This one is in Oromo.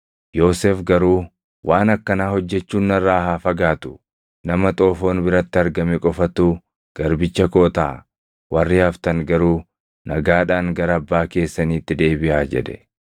Yoosef garuu, “Waan akkanaa hojjechuun narraa haa fagaatu! Nama xoofoon biratti argame qofatu garbicha koo taʼa. Warri haftan garuu nagaadhaan gara abbaa keessaniitti deebiʼaa” jedhe.